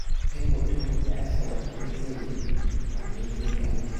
Sai mutum ya rasa wanne zai yi wanne zai bari.